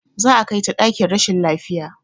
Za a kai ta ɗakin rashin lafiya